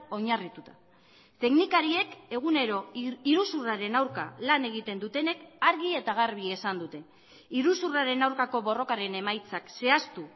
oinarrituta teknikariek egunero iruzurraren aurka lan egiten dutenek argi eta garbi esan dute iruzurraren aurkako borrokaren emaitzak zehaztu